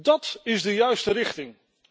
Dat is de juiste richting.